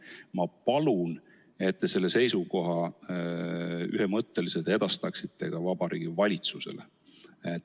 Ma palun, et te selle seisukoha ühemõtteliselt edastaksite ka Vabariigi Valitsusele.